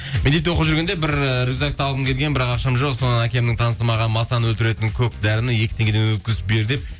мектепте оқып жүргенде бір ііі рюкзакты алғым келген бірақ ақшам жоқ содан әкемнің танысы маған масаны өлтіретін көк дәріні екі теңгеден өткізіп бер деп